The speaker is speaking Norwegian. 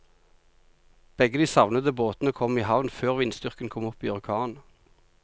Begge de savnede båtene kom i havn før vindstyrken kom opp i orkan.